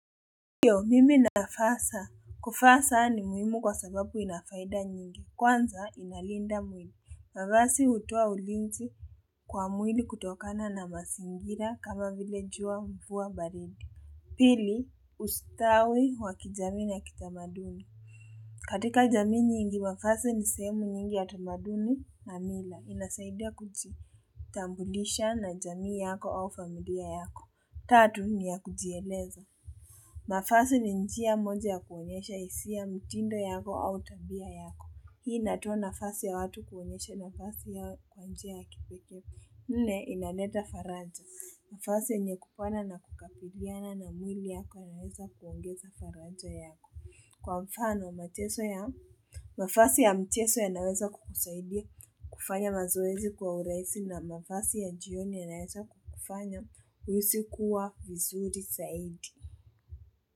Ndio, mimi navaa saa. Kuvaa saa ni muhimu kwa sababu ina faida nyingi. Kwanza inalinda mwili. Mavazi utoa ulinzi kwa mwili kutokana na mazingira kama vile jua, mvua, baridi. Pili ustawi wa kijamii na kitamaduni katika jamii nyingi mavazi ni sehemu nyingi ya tamaduni na mila. Inasaidia kujitambulisha na jamii yako au familia yako Tatu ni ya kujieleza. Mavazi ni njia moja ya kuonyesha hisia, mtindo yako au tabia yako. Hii inatoa nafasi ya watu kuonyesha mavazi yao kwa njia ya kipekee. Nne inaleta faraja. Mavazi yenye kupana na kukabiliana na mwili yako yanaweza kuongeza faraja yako. Kwa mfano, mavazi ya mchezo yanaweza kukusaidia kufanya mazoezi kwa urahisi na mavazi ya jioni yanaweza kukufanya uhisi kuwa vizuri saidi.